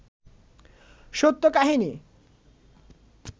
সত্য কাহিনী